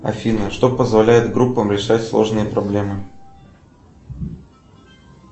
афина что позволяет группам решать сложные проблемы